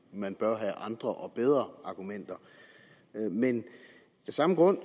man bør have andre og bedre argumenter men af samme grund